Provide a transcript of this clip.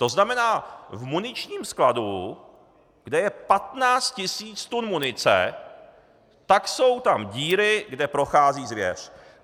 To znamená, v muničním skladu, kde je 15 tisíc tun munice, tak jsou tam díry, kde prochází zvěř.